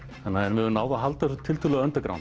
við höfum náð að halda þessu tiltölulegu